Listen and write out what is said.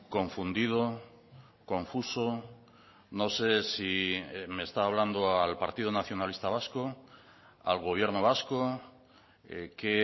confundido confuso no sé si me está hablando al partido nacionalista vasco al gobierno vasco qué